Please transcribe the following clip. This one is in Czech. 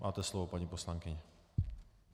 Máte slovo, paní poslankyně.